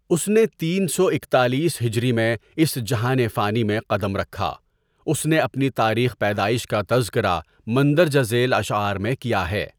اس نے تین سو اکتالیس ہجری میں اس جہان فانی میں قدم رکها اس نے اپنی تاریخ پیدایش کا تذکره مندرجہ ذیل اشعار میں کیا ہے.